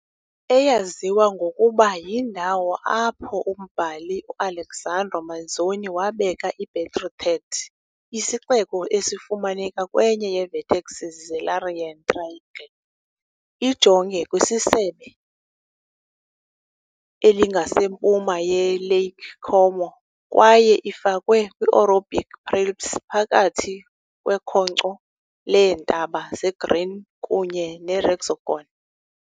Eyaziwa ngokuba yindawo apho umbhali u-Alexandro Manzoni wabeka I-Betrothed, isixeko esifumaneka kwenye yee-vertexes ze-Larian Triangle. Ijonge kwisebe elingasempuma yeLake Como kwaye ifakwe kwi-Orobic Prealps, phakathi kwekhonkco leentaba zeGrigne kunye neResegone.